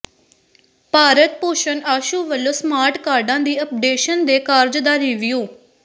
ਭਾਰਤ ਭੂਸ਼ਨ ਆਸ਼ੂ ਵੱਲੋਂ ਸਮਾਰਟ ਕਾਰਡਾਂ ਦੀ ਅਪਡੇਸ਼ਨ ਦੇ ਕਾਰਜ ਦਾ ਰੀਵਿਊ